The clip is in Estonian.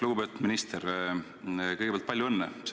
Lugupeetud minister, kõigepealt palju õnne!